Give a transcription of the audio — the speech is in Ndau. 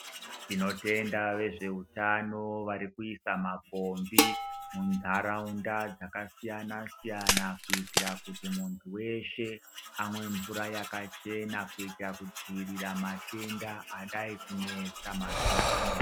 Tinotenda vezveutano varikuisa mapombi munharaunda dzakasiyanasiyana kuitira kuti munhu weshe amwe mvura yakachena kuita kudziirira matenda adai kunesa mazuwa ano.